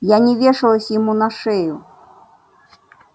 я не вешалась ему на шею